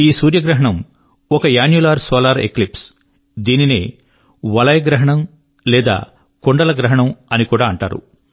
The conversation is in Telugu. ఈ సూర్యగ్రహణం ఒక అన్నులర్ సోలార్ ఎక్లిప్స్ దీనినే వలయ గ్రహణం లేదా కుండల గ్రహణం అని కూడా అంటారు